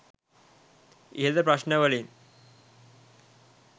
ඉහත ප්‍රශ්න වලින්